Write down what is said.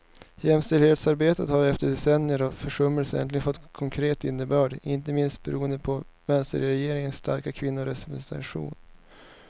Jämställdhetsarbetet har efter decennier av försummelser äntligen fått konkret innebörd, inte minst beroende på vänsterregeringens starka kvinnorepresentation.